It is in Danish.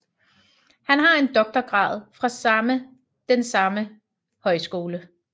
Han har en doktorgrad fra samme den samme højskole